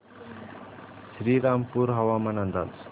श्रीरामपूर हवामान अंदाज